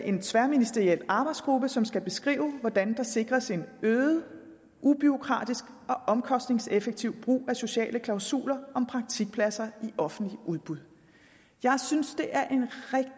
en tværministeriel arbejdsgruppe som skal beskrive hvordan der sikres en øget ubureaukratisk og omkostningseffektiv brug af sociale klausuler om praktikpladser i offentlige udbud jeg synes det er